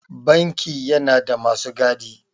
Banki yana da masu gadi.